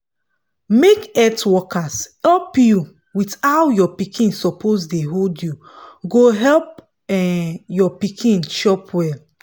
make health workers help you with how your baby suppose dey hold you go help um your pikin chop well